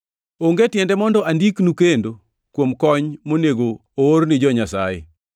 Onge tiende mondo andiknu kendo kuom kony monego oor ni jo-Nyasaye.